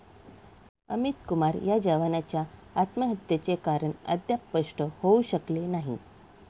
अमित कुमार या जवानाच्या आत्महत्येचे कारण अद्याप स्पष्ट होऊ शकलेले नाही.